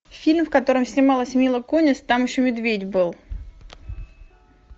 фильм в котором снималась мила кунис там еще медведь был